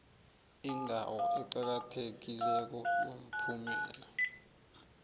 indawo eqakathekileko yomphumela